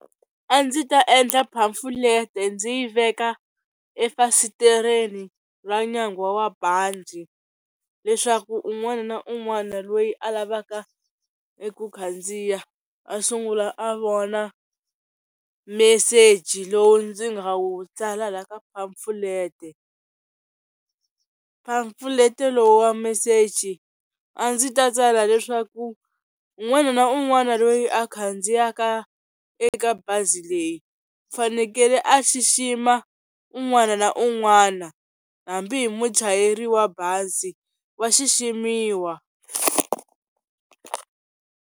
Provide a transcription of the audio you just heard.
A ndzi ta endla phamfulete ndzi yi veka efasitereni ra nyanghwa wa banzi leswaku un'wana na un'wana loyi a lavaka eku khandziya a sungula a vona meseji lowu ndzi nga wu tsala la ka phamfulete. Phamfulete lo wa meseji a ndzi ta tsala leswaku un'wana na un'wana loyi a khandziyaka eka bazi leyi fanekele a xixima un'wana na un'wana hambi hi muchayeri wa bazi wa xiximiwa.